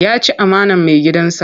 Ya ci amanar maigidansa.